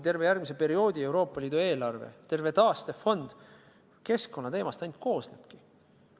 Terve järgmise perioodi Euroopa Liidu eelarve, terve taastefond ainult keskkonnateemast koosnebki.